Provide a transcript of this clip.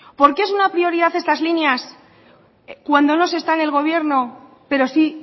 por qué es una prioridad estas líneas cuando no se está en el gobierno pero sí